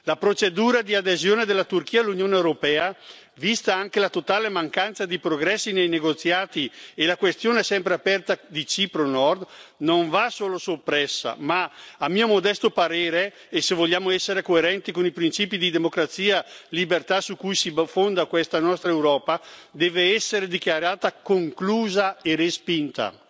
La procedura di adesione della Turchia all'Unione europea, vista anche la totale mancanza di progressi nei negoziati e la questione sempre aperta di Cipro del Nord, non va solo soppressa ma, a mio modesto parere e se vogliamo essere coerenti con i principi di democrazia e libertà su cui si fonda questa nostra Europa, deve essere dichiarata conclusa e respinta.